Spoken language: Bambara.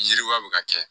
Yiriwa bɛ ka kɛ